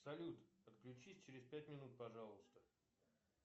салют отключись через пять минут пожалуйста